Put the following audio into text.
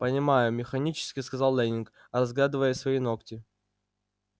понимаю механически сказал лэннинг разглядывая свои ногти